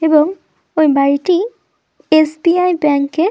এবং ওই বাড়িটি এস.বি.আই. ব্যাংকের ।